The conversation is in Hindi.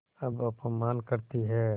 अब अपमान करतीं हैं